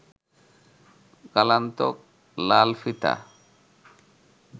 কালান্তক লাল ফিতা